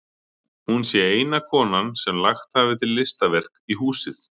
Hún sé eina konan sem lagt hafi til listaverk í húsið.